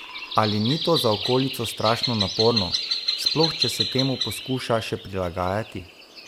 Ali ni to za okolico strašno naporno, sploh če se temu poskuša še prilagajati?